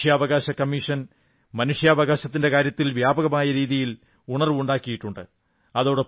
മനുഷ്യാവകാശ കമ്മീഷൻ മനുഷ്യാവകാശത്തിന്റെ കാര്യത്തിൽ വ്യാപകമായ രീതിയിൽ ഉണർവ്വുണ്ടാക്കിയിട്ടുണ്ട്